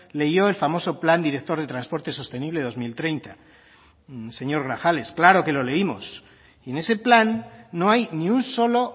leyó el famoso plan director de transporte sostenible dos mil treinta señor grajales claro que lo leímos y en ese plan no hay ni un solo